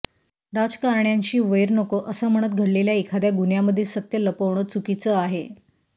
राजकारण्यांशी वैर नको असं म्हणत घडलेल्या एखाद्या गुन्ह्यामधील सत्य लपवणं चुकीचं आहे